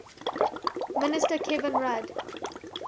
minister kevin rudd